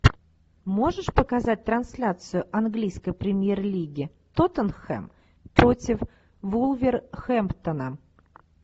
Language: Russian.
можешь показать трансляцию английской премьер лиги тоттенхэм против вулверхэмптона